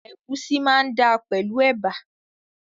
Ègúsí máa dáa pẹ̀lú ẹ̀bà